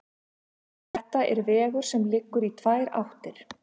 Þetta er vegur sem liggur í tvær áttir.